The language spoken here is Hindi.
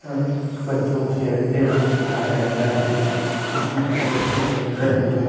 और बच्चों को खेलते हुए दिखाया गया है जिसमें कुछ बच्चे खेल रहे हैं।